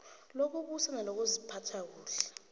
lokubusa nelokuziphatha kuhle